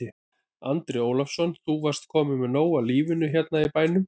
Andri Ólafsson: Þú varst kominn með nóg af lífinu hérna í bænum?